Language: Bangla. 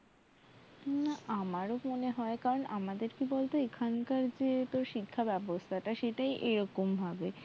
না আমারও মনে হয় কারণ আমাদের কি বলতো এখানকার যে তোর শিক্ষা ব্যবস্থাটা সেটাই এরকম ভাবে